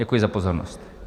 Děkuji za pozornost.